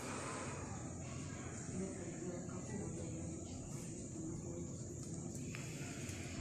сбер в пределах какого географического объекта находится скандинавский полуостров